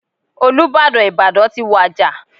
Olúbàdàn Ìbàdàn ti wàjà.